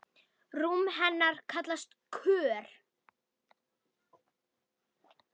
Rúm hennar kallast Kör.